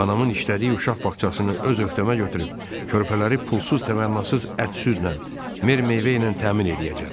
Anamın işlədiyi uşaq bağçasını öz öhdəmə götürüb körpələri pulsuz təmənnasız ət-südlə, meyvə ilə təmin eləyəcəm.